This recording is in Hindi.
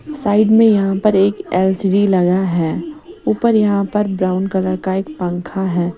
साइड मे यहां पर एक एल_सी_डी लगा हैं ऊपर यहां पर ब्राउन कलर का एक पंखा हैं।